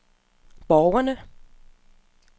borgerne